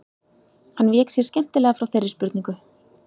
Hann vék sér skemmtilega frá þeirri spurningu.